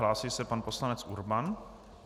Hlásí se pan poslanec Urban.